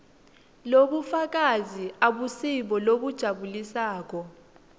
lobufakazi abusibo lobujabulisako